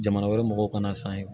Jamana wɛrɛ mɔgɔw kana san yen